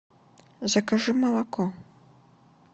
закажи молоко